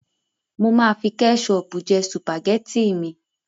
Mo máa fi kẹ́ṣọọ̀pù jẹ sùpàgẹ́tì mi.